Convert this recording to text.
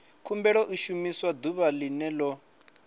khumbelo i shumiwa ḓuvha ḽene ḽo